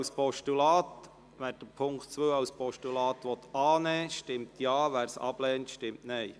Wer den Punkt 2 als Postulat annehmen will, stimmt Ja, wer diesen ablehnt, stimmt Nein.